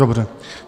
Dobře.